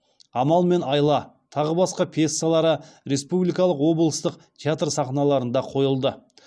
амал мен айла тағы басқа пьесалары республикалық облыстық театр сахналарында қойылды